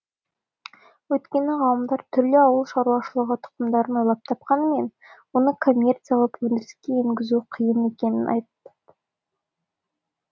өйткені ғалымдар түрлі ауыл шаруашылығы тұқымдарын ойлап тапқанымен оны коммерциялап өндіріске енгізу қиын екенін айтты